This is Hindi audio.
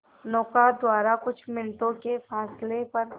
नौका द्वारा कुछ मिनटों के फासले पर